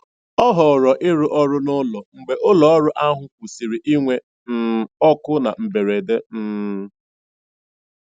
Ọ họọrọ ịrụ ọrụ n'ụlọ mgbe ụlọọrụ ahụ kwụsịrị inwe um ọkụ na mberede. um